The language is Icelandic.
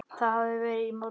Það hafði verið í morgun.